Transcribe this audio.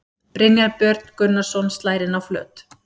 Brynjar Björn Gunnarsson slær inn á flöt.